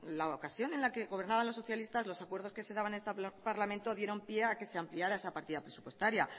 la ocasión en la que gobernaban los socialistas los acuerdos que se daban en este parlamento dieron pie a que se amplíen a esa partida presupuestaria